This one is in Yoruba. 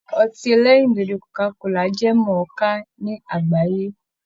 Ọtí ẹlẹ́rìndòdò Coca-cola jẹ́ mọ̀ọ́ká ní àgbáyé